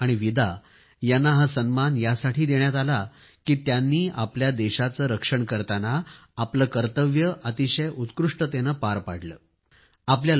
Sophie आणि Vida यांना हा सन्मान यासाठी देण्यात आला की त्यांनी आपल्या देशाचे रक्षण करताना आपले कर्तव्य अतिशय उत्कृष्टेने पार पाडले आहे